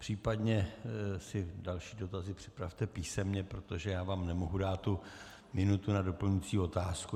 Případně si další dotazy připravte písemně, protože já vám nemohu dát tu minutu na doplňující otázku.